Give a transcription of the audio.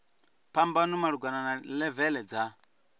phambano malugana na levele dza